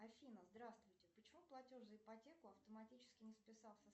афина здравствуйте почему платеж за ипотеку автоматически не списался